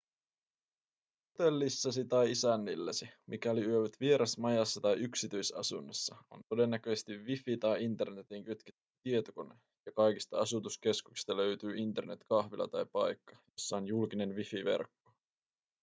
hotellissasi tai isännilläsi mikäli yövyt vierasmajassa tai yksityisasunnossa on todennäköisesti wifi tai internetiin kytketty tietokone ja kaikista asutuskeskuksista löytyy internet-kahvila tai paikka jossa on julkinen wifi-verkko